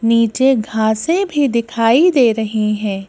नीचे घासें भी दिखाई दे रही हैं।